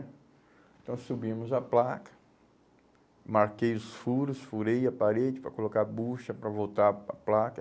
Então, subimos a placa, marquei os furos, furei a parede para colocar a bucha para voltar para a placa.